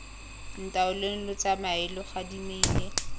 ntaoleng lo tsamae lo gadimile